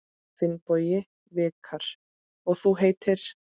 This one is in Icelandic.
Finnbogi Vikar: Og þú heitir?